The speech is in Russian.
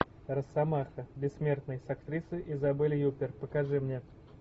росомаха бессмертный с актрисой изабель юппер покажи мне